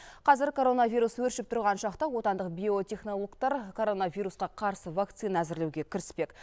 қазір коронавирус өршіп тұрған шақта отандық биотехнологтар коронавирусқа қарсы вакцина әзірлеуге кіріспек